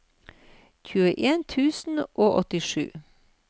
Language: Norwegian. tjueen tusen og åttisju